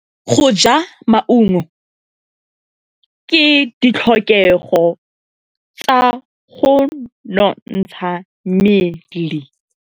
Go ja maungo ke ditlhokegô tsa go nontsha mmele.